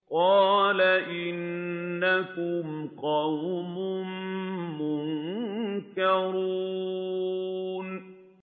قَالَ إِنَّكُمْ قَوْمٌ مُّنكَرُونَ